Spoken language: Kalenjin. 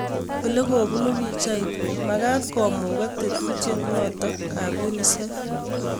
Olekoobuunu pichait, Magaat koomugaak tetuutyet notok ap UNICEF